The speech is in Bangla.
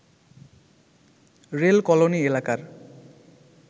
রেল কলোনিএলাকার